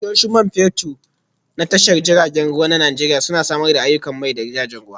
Tashoshin Man Fetur na Tashar jiragen ruwa na Najeriya Suna Samar da aiyukan mai ga jiragen ruwa